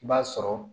I b'a sɔrɔ